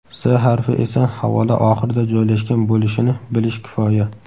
S harfi esa havola oxirida joylashgan bo‘lishini bilish kifoya.